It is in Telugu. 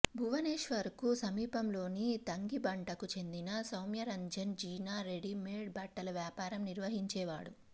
భువనేశ్వర్ కు సమీపంలోని తంగిబంటకు చెందిన సౌమ్యరంజన్ జీనా రెడీమెడ్ బట్టల వ్యాపారం నిర్వహించేవాడు